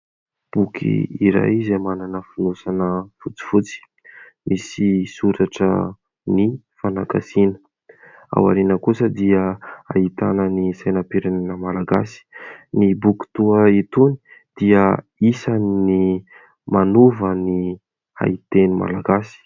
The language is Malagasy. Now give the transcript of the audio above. Boky iray izay manana fonosana fotsifotsy, misy soratra ny fanagasiana ,ao ariany kosa dia ahitana ny sainam-pirenena Malagasy. Ny boky toy itony dia isany'ny manova ny haiteny Malagasy.